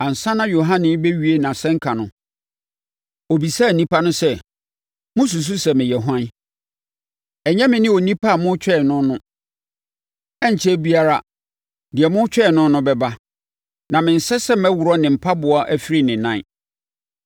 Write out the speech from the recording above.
Ansa na Yohane rebɛwie nʼasɛnka no, ɔbisaa nnipa no sɛ, ‘Mosusu sɛ meyɛ hwan? Ɛnyɛ me ne onipa a moretwɛn no no. Ɛrenkyɛre biara, deɛ moretwɛn no no bɛba, na mensɛ sɛ mɛworɔ ne mpaboa afiri ne nan.’